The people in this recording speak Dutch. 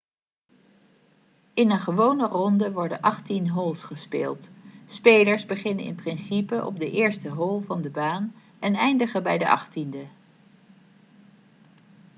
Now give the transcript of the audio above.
in een gewone ronde worden achttien holes gespeeld spelers beginnen in principe op de eerste hole van de baan en eindigen bij de achttiende